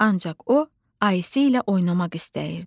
Ancaq o, Ayşə ilə oynamaq istəyirdi.